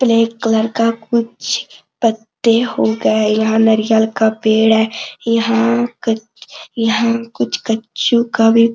black colour का कुछ पत्ते हो गए यहां नारियल का पेड़ है यहां कच यहाँ कुछ कचु का भी--